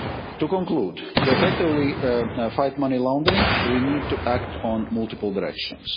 force. To conclude, to effectively fight money laundering, we need to act in multiple directions.